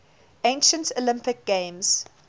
ancient olympic games